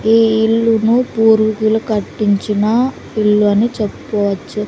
ఈ ఇల్లును పూర్వికులు కట్టించిన ఇల్లని చెప్పుకోవచ్చు.